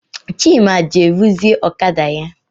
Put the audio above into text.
Chima jere ruzie ọkada ya